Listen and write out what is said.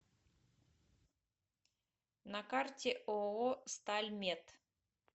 на карте ооо стальмет